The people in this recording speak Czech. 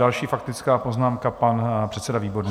Další faktická poznámka, pan předseda Výborný.